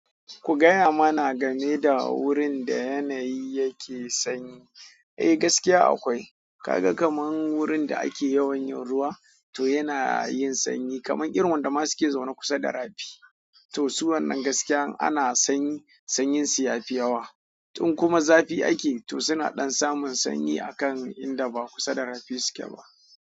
Ku gaya mana game da wurin da yanayi yake sanyi. Eh gaskiya akwai. Ka ga kamar wurin da ake yawan yin ruwa, to yana yin sanyi. Ƙanan irin waɗanda ma suke zaune kusa da rafi to su wannan gaskiya in ana sanyi, sanyi su yafi yawa in kuma zafi ake, to suna ɗan samun sanyi akan inda ba kusa da rafi suke ba.